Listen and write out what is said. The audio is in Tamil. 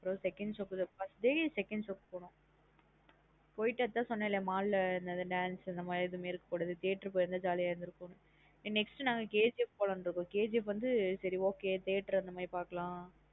Second show first day show க்கு போனும் போயிட்டு அதன் சொன்னேல்ல mall லா இந் dance இந்த மாத்ரி எதுவுமே இருக்க கூடாது theatre போயிருந்தா jolly ஆ இருந்துருக்கும் nextKGF போலம்னு இருக்கோம் KGF வந்து சரி okay theatre அந்த மாத்ரி பாக்கலாம்.